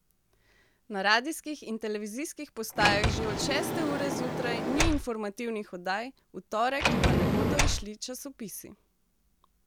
Na radijskih in televizijskih postajah že od šeste ure zjutraj ni informativnih oddaj, v torek pa ne bodo izšli časopisi.